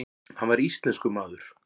Hann var íslenskur maður.